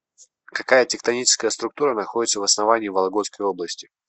какая тектоническая структура находится в основании вологодской области